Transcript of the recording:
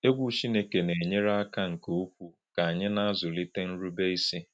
Egwu Chineke na-enyere aka nke ukwuu ka anyị na-azụlite nrubeisi.